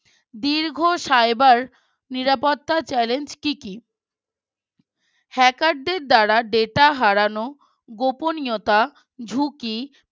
দীর্ঘ Cyber নিরাপত্তা challenge কি কি? Hacker দের দ্বারা Data হারানো গোপনীয়তার ঝুঁকি